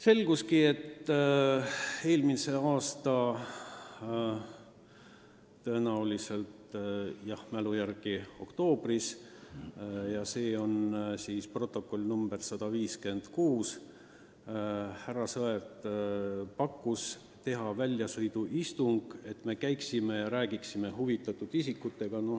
Selgus, et eelmisel aastal – vist oli oktoobris, ma mälu järgi praegu ütlen, igatahes protokolli number on 156 – härra Sõerd pakkus välja väljasõiduistungi, et me sõidaksime kohale ja räägiksime huvitatud isikutega.